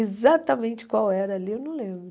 Exatamente qual era ali, eu não lembro.